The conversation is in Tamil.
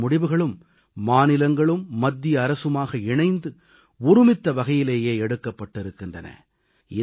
அனைத்து முடிவுகளும் மாநிலங்களும் மத்திய அரசுமாக இணைந்து ஒருமித்த வகையிலேயே எடுக்கப்பட்டிருக்கின்றன